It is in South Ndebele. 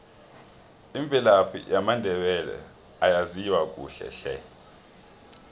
imvelaphi yamandebele ayaziwa kuhle hle